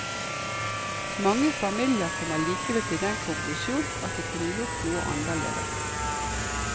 Mange familier kommer likevel til den konklusjon at de kunne gjort noe annerledes.